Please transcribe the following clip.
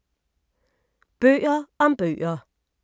Bøger om bøger